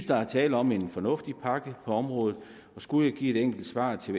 der er tale om en fornuftig pakke på området og skulle jeg give et enkelt svar til